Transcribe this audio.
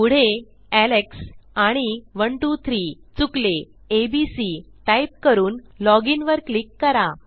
पुढे एलेक्स आणि 123 चुकले एबीसी टाईप करून लॉग inवर क्लिक करा